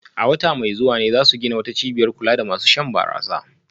A wata mai zuwa ne za su gina wata cibiyar kula da masu shan barasa